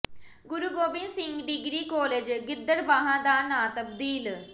ਗੁਰੂ Gobind Singh degree college Gidderbaha ਦਾ ਨਾਂ ਤਬਦੀਲ